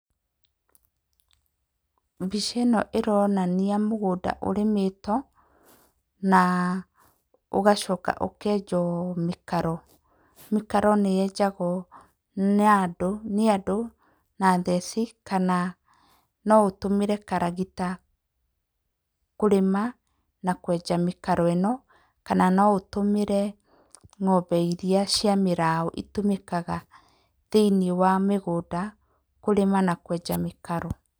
Mbica ĩno ĩronania mũgũnda ũrĩmĩtwo na ũgacoka ũkenjwo mĩkaro. Mĩkaro nĩyenjagwo nĩ andũ na theci kana no ũtũmĩre karagita kũrĩma na kwenja mĩkaro ĩno kana no ũtũmĩre ng'ombe irĩa cia mĩraũ itũmĩkaga thĩiniĩ wa mĩgũnda kũrĩma na kwenja mĩkaro.